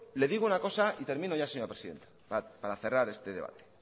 le digo una cosa y termino ya señora presidenta para cerrar este debate